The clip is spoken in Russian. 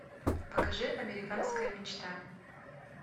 покажи американская мечта